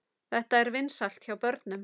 Þetta er vinsælt hjá börnum.